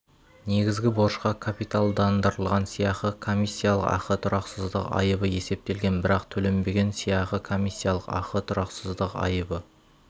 негізгі борышқа капиталдандырылған сыйақы комиссиялық ақы тұрақсыздық айыбы есептелген бірақ төленбеген сыйақы комиссиялық ақы тұрақсыздық айыбы